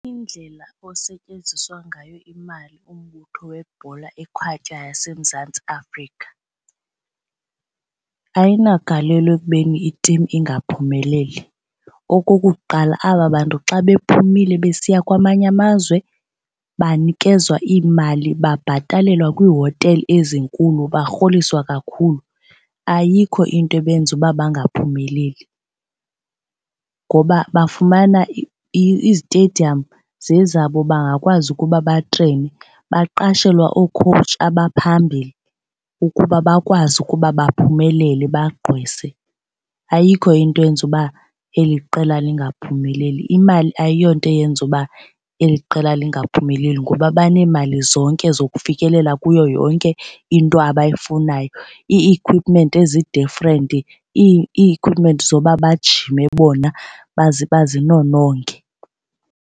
Indlela osetyenziswa ngayo imali umbutho webhola ekhatywayo yaseMzantsi Afrika ayinagalelo ekubeni i-team ingaphumeleli. Okokuqala, aba bantu xa bephumile besiya kwamanye amazwe banikezwa imali babhatalelwa kwiihotele ezinkulu barholiswa kakhulu. Ayikho into ebenza uba bangaphumeleli ngoba bafumana izitediyamu zezabo bangakwazi ukuba batreyinwe. Baqashelwa oo-coach abaphambili ukuba bakwazi ukuba baphumelele bagqwese. Ayikho into eyenza uba eli qela lingaphumeleli. Imali ayiyo nto eyenza uba eli qela lingaphumeleli kuba baneemali zonke zokufikelela kuyo yonke into abayifunayo, ii-equipment ezi-different ii-equipment zoba bajime bona bazinononge.